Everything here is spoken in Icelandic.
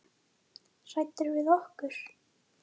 Hræddur við okkur?